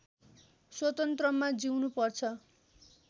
स्वतन्त्रमा जिउनु पर्छ